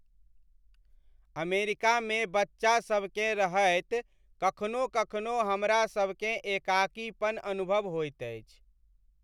अमेरिकामे बच्चासभकेँ रहैत कखनो कखनो हमरासभकेँ एकाकीपन अनुभव होइत अछि।